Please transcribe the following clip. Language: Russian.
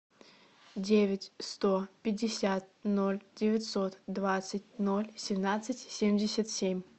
девять сто пятьдесят ноль девятьсот двадцать ноль семнадцать семьдесят семь